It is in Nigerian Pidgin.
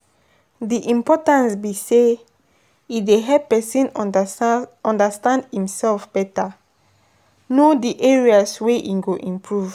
di importance be say e dey help pesin understand imself beta, know di areas wey e go improve.